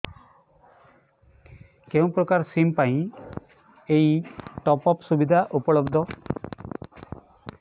କେଉଁ ପ୍ରକାର ସିମ୍ ପାଇଁ ଏଇ ଟପ୍ଅପ୍ ସୁବିଧା ଉପଲବ୍ଧ